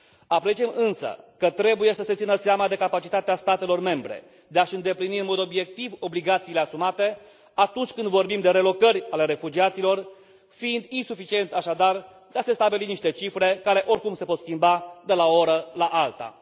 Apreciem însă că trebuie să se țină seama de capacitatea statelor membre de a și îndeplini în mod obiectiv obligațiile asumate atunci când vorbim de relocări ale refugiaților, fiind insuficient, așadar, de a se stabili niște cifre care, oricum, se pot schimba de la o oră la alta.